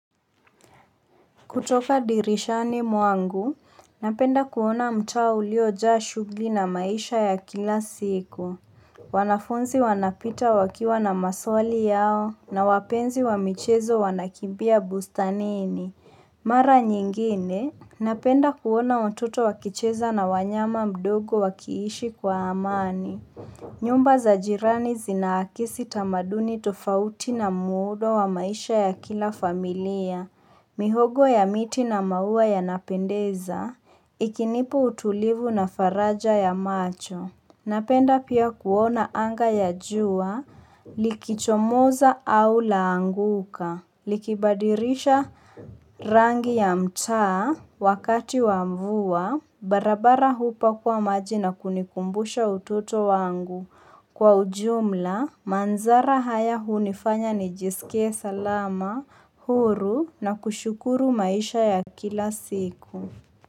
Kutoka dirishani mwangu, napenda kuona mtaa uliojaa shughuli na maisha ya kila siku. Wanafunzi wanapita wakiwa na maswali yao na wapenzi wa michezo wanakimbia bustanini. Mara nyingine, napenda kuona watoto wakicheza na wanyama wadogo wakiishi kwa amani. Nyumba za jirani zinaakisi tamaduni tofauti na muundo wa maisha ya kila familia. Mihogo ya miti na maua ya napendeza, ikinipa utulivu na faraja ya macho. Napenda pia kuona anga ya jua likichomoza au laanguka. Likibadilisha rangi ya mtaa wakati wa mvua barabara hupakuwa maji na kunikumbusha ututo wangu. Kwa ujumla, mandhari haya hunifanya nijisikie salama, huru na kushukuru maisha ya kila siku.